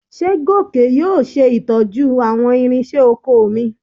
Ṣé Gòkè yóò ṣe ìtọ́jú àwọn ìrinṣẹ́ oko mi?